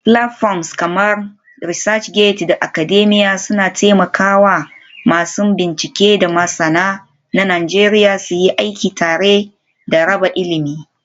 Platforms kamar ResearchGate da Academia suna taimaka wa masu bincike da masana na Najeriya suyi aiki tare da raba ilimi.